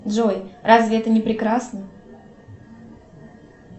джой разве это не прекрасно